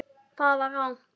Það var rangt!